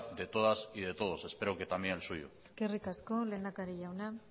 de todas y de todos espero que también el suyo eskerrik asko lehendakari jauna